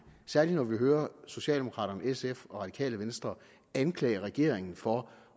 særlig når vi hører socialdemokraterne sf og radikale venstre anklage regeringen for